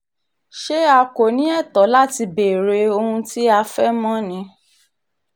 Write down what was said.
ṣé a kò ní ẹ̀tọ́ láti béèrè ohun tí a fẹ́ mọ̀ ni